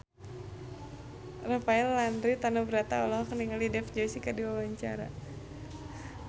Rafael Landry Tanubrata olohok ningali Dev Joshi keur diwawancara